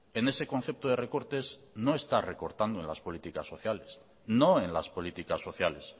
en ese concepto de recortes no está recortando en las políticas sociales no en las políticas sociales